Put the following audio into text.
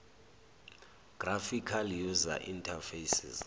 graphical user interfaces